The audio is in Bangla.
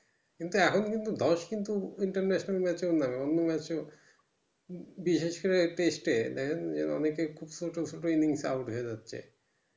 কিন্তু এখন কিন্তু দোষ কীন্তু international এ এর না অন্য match এও বিশেষ করে test এ দেখেন এর অনেকেই খুব ছোট ছোট mining এ out হয়ে যাচ্ছে